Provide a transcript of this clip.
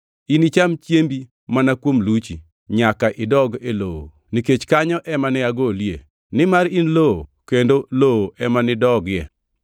Inicham chiembi mana kuom luchi, nyaka idog e lowo nikech kanyo ema ne ogolie, nimar in lowo kendo lowo ema nidogie.”